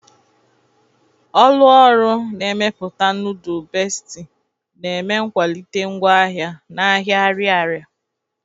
Ọlụ ọrụ na-emeputa nudul Besti na-eme nkwalite ngwa ahia n'ahia Ariaria.